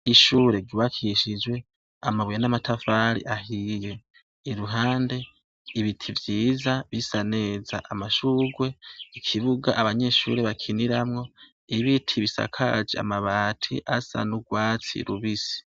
Ishure ryubakishijwe amabuye n'amatafari ahiye iruhande ibiti vyiza bisaneza amashugwe ikibuga abanyeshuri bakiniramwo ibiti bisakaje amabati asa n'ubwatsi rubisi.